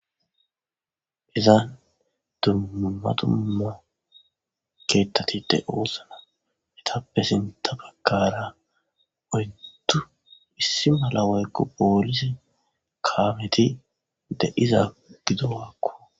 Izan dummumatumo keettatide oosna etappe sinta bagkara oytu issi mala waykko poolisi kaameti de iza gidowaakko